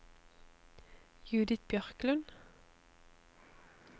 Judith Bjørklund